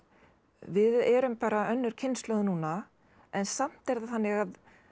við erum bara önnur kynslóð núna en samt er það þannig að